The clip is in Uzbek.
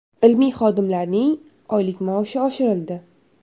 Ilmiy xodimlarning oylik maoshi oshirildi.